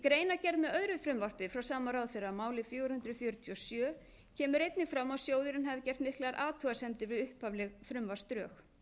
greinargerð með öðru frumvarpi frá sama ráðherra máli fjögur hundruð fjörutíu og sjö kemur einnig fram að sjóðurinn hafi gert miklar athugasemdir við upphafleg frumvarpsdrög